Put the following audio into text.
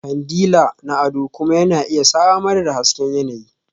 Kandila na ado kuma yana iya samar da hasken yanayi.